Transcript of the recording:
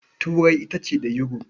Turai ita ce da Yuro.